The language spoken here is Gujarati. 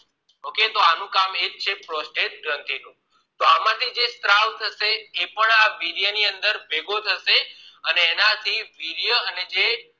Okay તો અનુ કામ એજ છે prostate ગ્રંથીનું આમાંથી જે સ્ત્રાવ એ પણ વીર્યની અંદર ભેગું થશે અને એનાથી વીર્ય અને જે